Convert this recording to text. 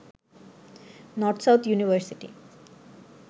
north south university